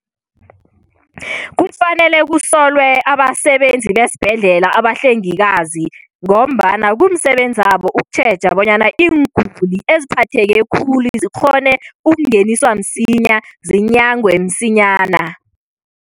Kufanele kusolwe abasebenzi besibhedlela, abahlengikazi ngombana kumsebenzabo ukutjheja bonyana iinguli eziphatheke khulu zikghone ukungeniswa msinya, zinyangwe msinyana.